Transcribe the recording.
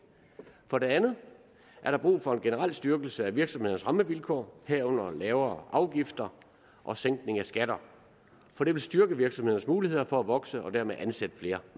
for det andet er der brug for en generel styrkelse af virksomhedernes rammevilkår herunder lavere afgifter og sænkning af skatter for det vil styrke virksomhedernes muligheder for at vokse og dermed kunne ansætte flere